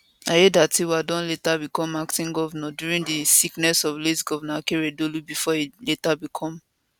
aiyedatiwa bin later become acting govnor during di sickness of late govnor akeredolu bifor e later become